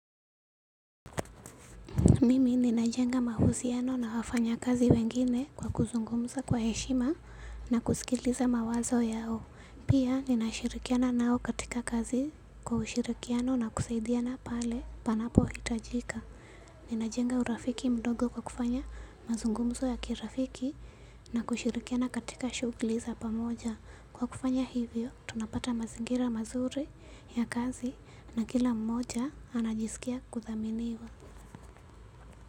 Mimi ninajenga mahusiano na wafanyakazi wengine kwa kuzungumza kwa heshima na kusikiliza mawazo yao. Pia ninashirikiana nao katika kazi kwa ushirikiano na kusaidiana pale panapohitajika. Ninajenga urafiki mdogo kwa kufanya mazungumzo ya kirafiki na kushirikiana katika shughuli za pamoja. Kwa kufanya hivyo tunapata mazingira mazuri ya kazi na kila mmoja anajisikia kuthaminiwa.